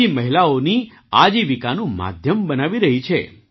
મહિલાઓની આજીવિકાનું માધ્યમ બનાવી રહી છે